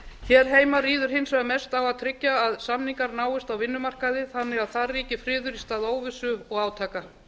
hér heima ríður hins vegar mest á að tryggja að samningar náist á vinnumarkaði þannig að þar ríki friður í stað óvissu og átaka